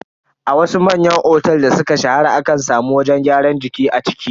A wasu manyan otel da suka shahara akan samu wajen gyaran jiki a ciki.